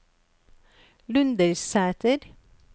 Lundersæter